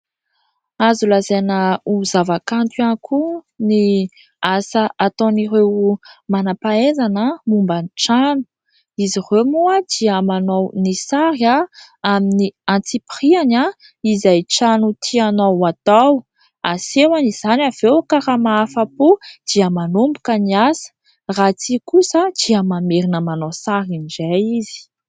azo lazaina ho zava-kanto ihany koa ny asa ataon'ireo manam-pahaizana momban'ny trano ,izy ireo moa dia manao ny sary amin'ny antsipiriany , izay trano tianao atao asehoany izany ,avy eo ka raha mahafa-po dia manomboka ny asa ;raha tsia kosa dia mamerina manao sariny indray izy